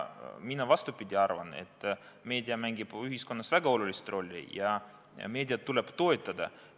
Mina, vastupidi, arvan, et meedia mängib ühiskonnas väga olulist rolli ja meediat tuleb toetada.